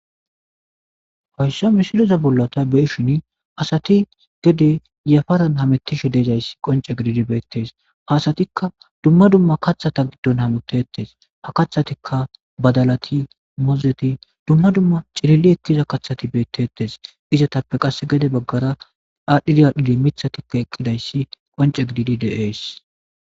Hoyssa mishiloza bollata beeshin asati gede yafaran hamettishi deezayssi qonce gididi beettes hasatikka dumma dumma kathata giddon hamitettes ha kathatikka badalati mozeti dumma dumma cilili ettiza kathati beettetes izatappe qass gede baggara adhiriyadhidi mithatikko eqqidayssi qonce gididi deees.